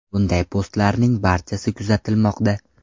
Bunday postlarning barchasi kuzatilmoqda.